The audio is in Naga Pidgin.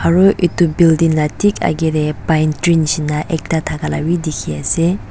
aru edu building la thik akae tae pine tree nishina ekta thakala bi dikhiase.